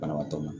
Banabaatɔ ma